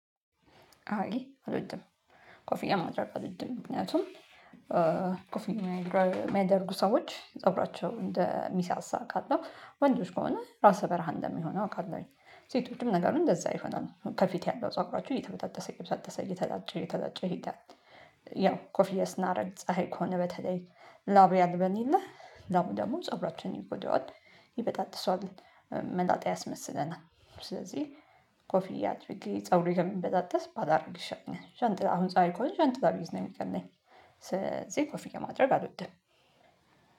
አይ አልወድም። ኮፊያ ማድረግ አልወድም። ምክንያቱም ኮፊያ የሚያደርጉ ሰዎች ፀጉራቸው እንደ ሚሳሳ አውቃለሁ። ወንዶች ከሆነ ራሰ በረሃ እንደሚሆን አውቃለሁኝ። ሴቶችም ነገሩ እንደዛ ይሆናል። ከፊት ያለው ጸጉራችሁ እየተበጣጠሰ እየተጣጠሰ እየተላጨ እየተላጨ ይሄዳል። ያው ኮፍያ ስናረግ ፀሀይ ከሆነ በተለይ ላብ ያልበን የለ? ላቡ ደግሞ ፀብራችንን ይጎደዋል። ይበጣጥሰዋል። መላጣ ያስመስለናል። ስለዚህ ኮፍያ አድርጌ ፀጉሬ ከሚበጣጥስ ባላደርግ ይሻለኛል። ዣንጥላ አሁን ፀሀይ ከሆነ ዣንጥላ ብይዝ ነው የሚቀለኝ። ስለዚህ ኮፍያ ማድረግ አልወድም።